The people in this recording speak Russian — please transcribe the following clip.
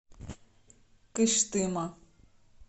кыштыма